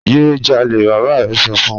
Ye jale baba rẹ sọ fun